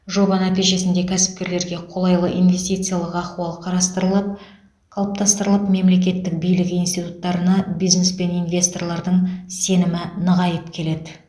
жоба нәтижесінде кәсіпкерлерге қолайлы инвестициялық ахуал қарастырылып қалыптастырылып мемлекеттік билік институттарына бизнес пен инвесторлардың сенімі нығайып келеді